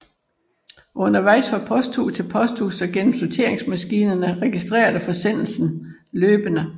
Undervejs fra posthus til posthus og gennem sorteringsmaskinerne registreres forsendelsen løbende